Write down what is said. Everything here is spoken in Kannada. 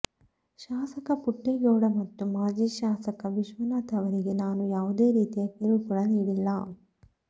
ಶಾಸಕ ಪುಟ್ಟೇಗೌಡ ಮತ್ತು ಮಾಜಿ ಶಾಸಕ ವಿಶ್ವನಾಥ್ ಅವರಿಗೆ ನಾನು ಯಾವುದೇ ರೀತಿಯ ಕಿರುಕುಳ ನೀಡಿಲ್ಲ